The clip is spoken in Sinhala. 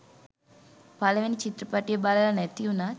පළවෙනි චිත්‍රපටිය බලල නැති උනත්